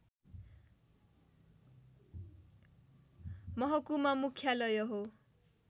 महकुमा मुख्यालय हो